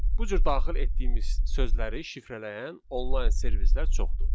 Bu cür daxil etdiyimiz sözləri şifrələyən online servislər çoxdur.